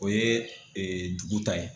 O ye dugu ta ye.